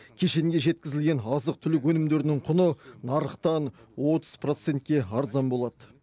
кешенге жеткізілген азық түлік өнімдерінің құны нарықтан отыз процентке арзан болады